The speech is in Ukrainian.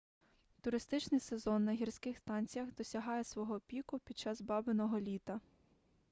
туристичний сезон на гірських станціях досягає свого піку під час бабиного літа